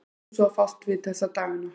Hvað ertu svo að fást við þessa dagana?